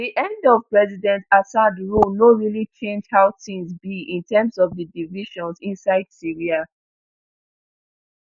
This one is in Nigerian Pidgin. di end of president assad rule no really change how tins be in terms of di divisions inside syria